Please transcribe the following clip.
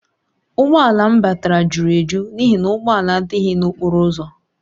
Ụgbọ ala m batara juru eju n’ihi na ụgbọ ala adịghị n’okporo ụzọ